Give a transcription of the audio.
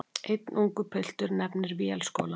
Einn ungur piltur nefnir Vélskólann.